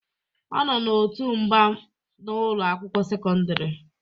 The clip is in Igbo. Ọ nọ n'òtù mgba mgba na ụlọ akwụkwọ sekọndrị